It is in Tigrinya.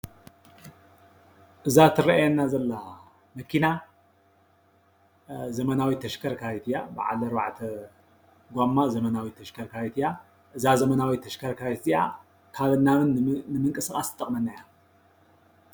እዛ ትረኣየና ዘላ መኪና ዘመናዊት ተሽከርካሪት እያ ።በዓል ኣርባዕተ ጎማ ዘበናዊት ተሽከርካሪት እያ። እዛ ዘመናዊትይ ተሽከርካሪት እዚኣ ካብን ናብን ንምንቅስቃስ ትጠቅመና እያ።